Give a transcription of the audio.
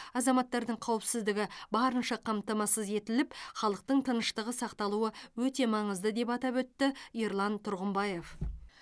азаматтардың қауіпсіздігі барынша қамтамасыз етіліп халықтың тыныштығы сақталуы өте маңызды деп атап өтті ерлан тұрғымбаев